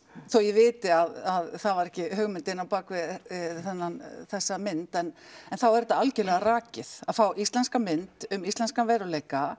þó ég viti að það var ekki hugmyndin á bakvið þessa mynd en þá er þetta algjörlega rakið að fá íslenska mynd um íslenskan veruleika